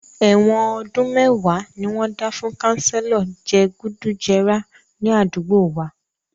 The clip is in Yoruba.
Èwọ̀n ọdún mẹ́wàá ni wọ́n dá fún kanselo je gùdù jẹrà ní àdúgbò wa